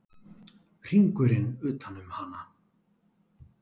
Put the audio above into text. Hringurinn utan um hana.